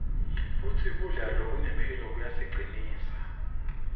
futsi kudla lokunemphilo kuyasicinsa